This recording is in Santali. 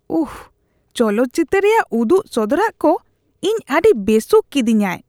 ᱩᱦᱦᱦ ! ᱪᱚᱞᱚᱛ ᱪᱤᱛᱟᱹᱨ ᱨᱮᱭᱟᱜ ᱩᱫᱩᱜ ᱥᱚᱫᱚᱨᱟᱜ ᱠᱚ ᱤᱧ ᱟᱹᱰᱤ ᱵᱮᱥᱩᱠᱷ ᱠᱤᱫᱤᱧᱟᱭ ᱾